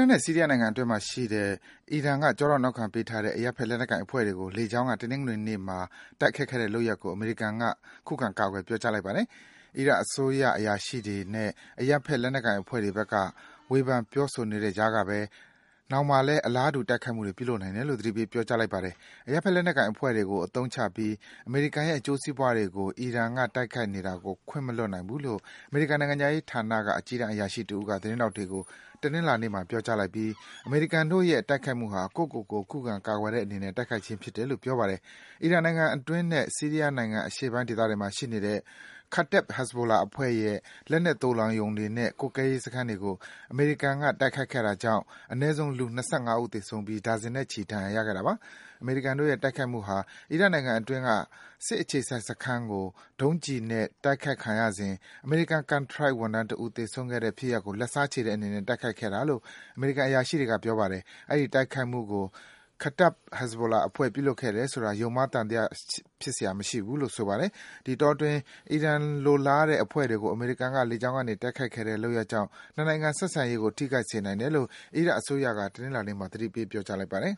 တ်နဲ့ ဆီးရီးယားနိုင်ငံအတွင်းမှာရှိတဲ့ အီရန်က ကျောထောက်နောက်ခံပေးထားတဲ့ အရပ်ဘက်လက်နက်ကိုင်အဖွဲ့တွေကို လေကြောင်းက တနင်္ဂနွေနေ့မှာ တိုက်ခိုက်ခဲ့တဲ့လုပ်ရပ်ကို အမေရိကန်က ကာကွယ်ပြောကြားလိုက်ပါတယ်။ အီရတ်အစိုးရ အရာရှိတွေနဲ့ အရပ်ဘက်လက်နက်ကိုင် အဖွဲ့တွေဘက်က ဝေဖန်ပြောဆိုနေတဲ့ကြားကပဲ နောက်မှာလည်း အလားတူ တိုက်ခိုက်မှုတွေပြုလုပ်နိုင်တယ်လို့ သတိပေးလိုက်ပါတယ်။ အရပ်ဘက် လက်နက်ကိုင်အဖွဲ့တွေကိုအသုံးချပြီး အမေးရိကန်ရဲ့အကျိုးစီးပွားတွေကို အီရန်ကတိုက်ခိုက်နေတာ ခွင့်မလွတ်နိုင်ဘူးလို့ အမေရိကန်နိုင်ငံခြား ရေးဌာနက အကြီးတန်းအရာရှိတဦးက သတင်းထောက်တွေကို တနင်္လာနေ့မှာ ပြောကြားလိုက်ပြီး အမေရိကန်တို့ရဲ့ တိုက်ခိုက်မှုဟာ ကိုယ့်ကိုကိုယ် ခုခံ ကာကွယ်တဲ့အနေနဲ့ တိုက်ခိုက်ခြင်းဖြစ်တယ်လို့ ပြောပါတယ်။ အီရတ်နိုင်ငံအတွင်းနဲ့ ဆီးရီးယားနိုင်ငံအရှေ့ပိုင်းဒေသတွေမှာ ရှိနေတဲ့ Kataeb Hezbollah အဖွဲ့ရဲ့ လက်နက်သိုလှောင်ရုံတွေနဲ့ ကွပ်ကဲရေးစခန်းတွေကို အမေရိကန်က တိုက်ခိုက်ခဲ့တာကြောင့် အနည်းဆုံး လူ ၂၅ ဦး သေဆုံးခဲ့ပြီး ဒါဇင်နဲ့ချီ ဒဏ်ရာရခဲ့တာပါ။ အမေရိကန်တို့ရဲ့တိုက်ခိုက်မှုဟာ အီရတ်နိုင်ငံအတွင်းက စစ်အခြေစိုက်စခန်းကို ဒုံးကျည်နဲ့တိုက်ခိုက်ခံရစဉ် အမေရိကန် ကန်ထရိုက်ဝန်ထမ်းတဦး သေဆုံးခဲ့တဲ့ဖစ်ရပ်ကို လက်စားခြေတဲ့အနေနဲ့ တိုက်ခိုက်ခဲ့တာလို့ အမေရိကန်အရာရှိတွေက ပြောပါတယ်။ အဲဒီတိုက်ခိုက်မှုကို Kataeb Hezbollah အဖွဲ့ ပြုလုပ်ခဲ့တယ်ဆိုတာ ယုံမှားသံသယဖြစ်စရာ မရှိဘူးလို့ ဆိုပါတယ်။ ဒီအတောအတွင်း အီရန်လိုလားတဲ့ အဖွဲ့တွေကို အမေရိကန်က လေကြောင်းကနေ တိုက်ခိုက်ခဲ့တဲ့လုပ်ရပ်ကြောင့် နှစ်နိုင်ငံဆက်ဆံရေးကို ထိခိုက်စေနိုင်တယ်လို့ အီရတ်အစိုးရက တနင်္လာနေ့မှာ သတိပေးပြောကြားလိုက်ပါတယ်